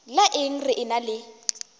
la eng re ena le